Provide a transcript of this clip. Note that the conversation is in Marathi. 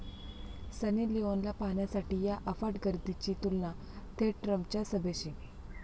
सनी लिओनला पाहण्यासाठी 'या' अफाट गर्दीची तुलना थेट ट्रम्पंच्या सभेशी!